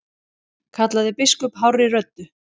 kallaði biskup hárri röddu.